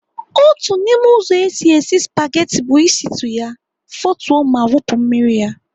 Otu n'ime ụzọ esi esi spageti bụ ịsịtụ ya, fotuo ma wụpụ ya mmiri.